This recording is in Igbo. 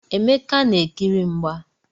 Emeka na-ekiri mgba.